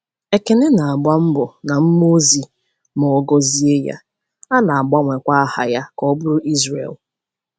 Ekene na-agba mgba na mmụọ ozi ma a gọzie ya, a na-agbanwekwa aha ya ka ọ bụrụ Izrel.